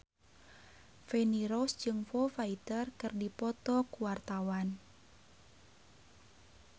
Feni Rose jeung Foo Fighter keur dipoto ku wartawan